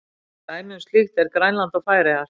Dæmi um slíkt eru Grænland og Færeyjar.